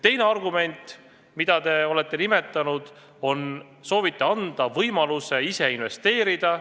Teine argument, mida te olete nimetanud, on see, et soovite anda inimestele võimaluse ise investeerida.